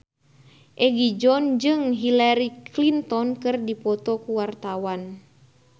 Egi John jeung Hillary Clinton keur dipoto ku wartawan